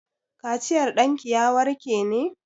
Kaciyar ɗanki ya warke ne?